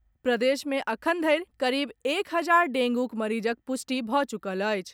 प्रदेश मे एखन धरि करीब एक हजार डेंगूक मरीजक पुष्टि भऽ चुकल अछि।